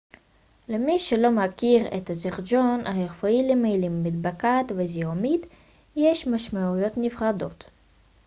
למי שלא מכיר את הז'רגון הרפואי למילים מדבקת ו זיהומית יש משמעויות נפרדות